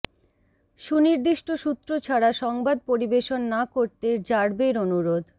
সুনির্দিষ্ট সূত্র ছাড়া সংবাদ পরিবেশন না করতে র্যাবের অনুরোধ